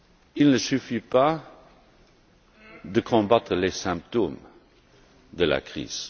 Il ne suffit pas de combattre les symptômes de la crise.